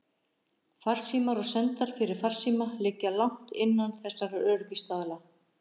Farsímar og sendar fyrir farsíma liggja langt innan þessara öryggisstaðla.